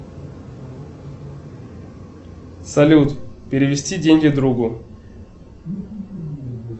салют перевести деньги другу